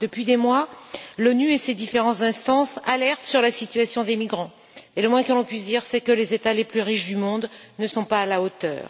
Depuis des mois, l'ONU et ses différentes instances alertent sur la situation des migrants, et le moins que l'on puisse dire, c'est que les États les plus riches du monde ne sont pas à la hauteur.